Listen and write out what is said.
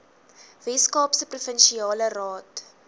weskaapse provinsiale raad